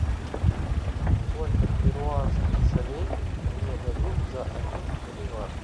сколько перуанских солей мне дадут за один боливар